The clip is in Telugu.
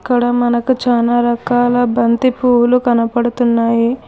ఇక్కడ మనకు చానా రకాల బంతి పువ్వులు కనపడుతున్నాయి.